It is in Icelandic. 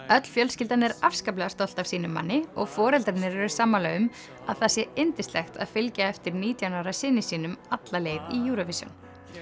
öll fjölskyldan er afskaplega stolt af sínum manni og foreldrarnir eru sammála um að það sé yndislegt að fylgja eftir nítján ára syni sínum alla leið í Eurovision